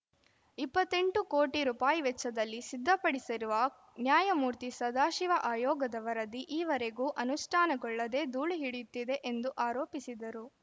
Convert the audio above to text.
ಇಪ್ಪತ್ತ್ ಎಂಟು ಕೋಟಿ ರುಪಾಯಿ ವೆಚ್ಚದಲ್ಲಿ ಸಿದ್ಧಪಡಿಸಿರುವ ನ್ಯಾಯಮೂರ್ತಿ ಸದಾಶಿವ ಆಯೋಗದ ವರದಿ ಈವರೆಗೂ ಅನುಷ್ಠಾನಗೊಳ್ಳದೇ ಧೂಳು ಹಿಡಿಯುತ್ತಿದೆ ಎಂದು ಆರೋಪಿಸಿದರು